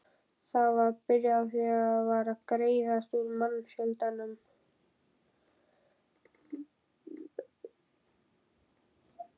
Það var byrjað var að greiðast úr mannfjöldanum.